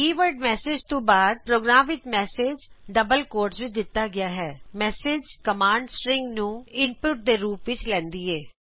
keyword message ਤੋਂ ਬਾਦ programme ਵਿੱਚ ਮੈਸਜ ਦੋਹਰੇ ਉਦਰਨ ਚਿਨਹਾ ਵਿੱਚ ਦਿੱਤਾ ਗਿਆ ਹੈਂmessageਕਮਾਨਡ stringਨੂੰ ਇਨਪੁਟ ਦੇ ਰੂਪ ਵਿੱਚ ਲੈਂਦੀ ਹੈਂ